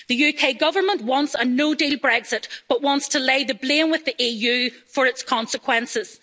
The UK Government wants a no-deal Brexit but wants to lay the blame with the EU for its consequences.